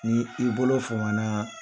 Ni i bolo fama na.